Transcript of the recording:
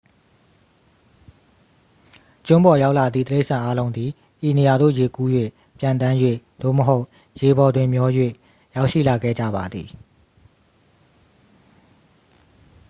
ကျွန်းပေါ်ရောက်လာသည့် တိရစ္ဆာန်အားလုံးသည် ဤနေရာသို့ ရေကူး၍ ပျံသန်း၍ သို့မဟုတ် ရေပေါ်တွင်မျော၍ ရောက်ရှိလာခဲ့ကြပါသည်